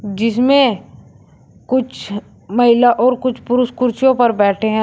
जिसमें कुछ महिला और कुछ पुरुष कुर्सियों पर बैठे हैं।